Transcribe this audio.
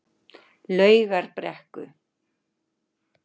Laugarbrekku